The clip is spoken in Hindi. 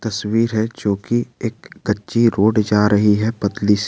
तस्वीर है जोकी एक कच्ची रोड जा रही है पतली सी।